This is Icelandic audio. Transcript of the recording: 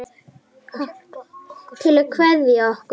Til að kveðja okkur?